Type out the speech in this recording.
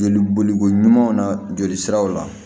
Joli boliko ɲumanw na jolisiraw la